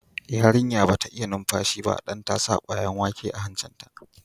Yarinya ba ta iya numfashi ba dan ta sa kwayan wake a hancin ta.